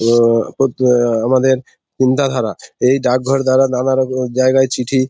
ওও করতো আমাদের চিন্তাধারা | এই ডাকঘর দ্বারা নানারকম জায়গা চিঠি --